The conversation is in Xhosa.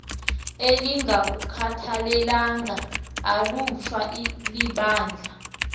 elingalukhathalelanga ulutsha libandla